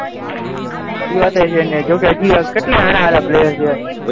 એ વાત પણ છે ને જોકે હજી કેટલા સારા સારા પ્લેયર છે.